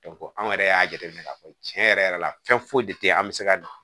anw yɛrɛ y'a jate minɛ k'a fɔ cɛn yɛrɛ yɛrɛ la fɛn foyi de te an be se ka na